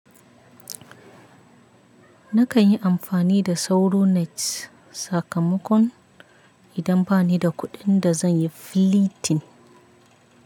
Na kan yi amfani da sauronet sakamakon idan ba ni da kuɗin da zan yi flitin.